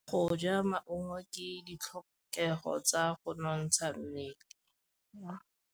Go ja maungo ke ditlhokegô tsa go nontsha mmele.